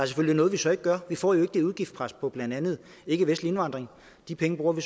selvfølgelig noget vi så ikke gør vi får jo ikke det udgiftspres på blandt andet ikkevestlig indvandring de penge bruger vi